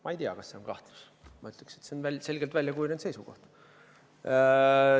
Ma ei tea, kas see on kahtlus, ma ütleksin, et see on selgelt väljakujunenud seisukoht.